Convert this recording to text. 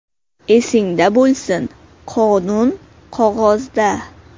Esingda bo‘lsin: qonun qog‘ozda.